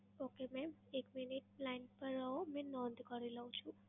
Okay mam, એક minute line પર રહો, મેં નોંધ કરી લઉં છું.